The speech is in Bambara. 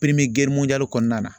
kɔnɔna na